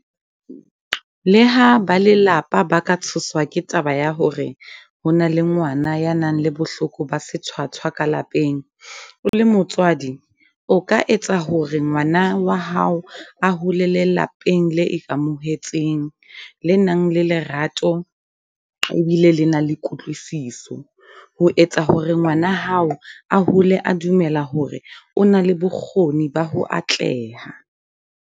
Leha ba lelapa ba ka tshoswa ke taba ya hore ho na le ngwana ya nang le bohloko ba sethwathwa ka lapeng, o le motswadi o ka etsa hore ngwana wa hao a holele lapeng le ikamohetseng, le nang le lerato e bile le na le kutlwisiso ho etsa hore ngwana hao a hole a dumela hore o na le bokgo-ning ba ho atleha.